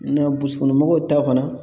Nɛ buusi kɔnɔ mɔgɔw ta fana